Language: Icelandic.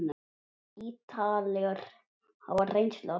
Ítalir hafa reynslu af því.